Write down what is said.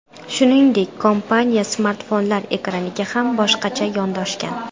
Shuningdek, kompaniya smartfonlar ekraniga ham boshqacha yondashgan.